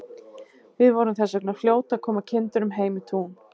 Við vorum þess vegna fljót að koma kindunum heim í tún.